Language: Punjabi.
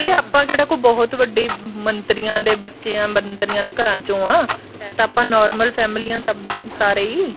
ਨਾਲੇ ਆਪਾਂ ਕਿਹੜੇ ਬਹੁਤ ਵੱਡੇ ਮੰਤਰੀਆਂ ਦੇ ਬੱਚੇ ਆਂ ਮੰਤਰੀਆਂ ਦੇ ਘਰਾਂ ਚੋ ਆਂ ਹੈ ਤਾਂ ਆਪਾਂ normal family ਆਂ ਸਭ ਸਾਰੇ ਹੀ